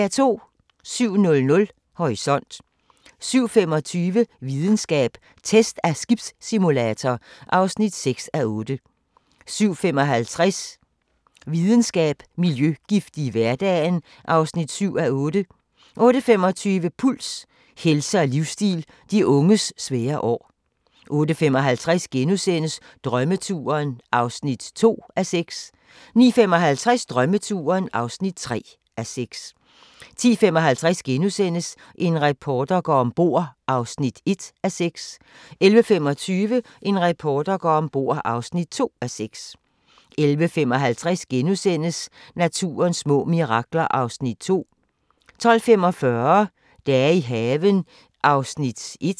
07:00: Horisont 07:25: Videnskab: Test af skibssimulator (6:8) 07:55: Videnskab: Miljøgifte i hverdagen (7:8) 08:25: Puls – helse og livsstil: De unges svære år 08:55: Drømmeturen (2:6)* 09:55: Drømmeturen (3:6) 10:55: En reporter går om bord (1:6)* 11:25: En reporter går om bord (2:6) 11:55: Naturens små mirakler (2:5)* 12:45: Dage i haven (1:12)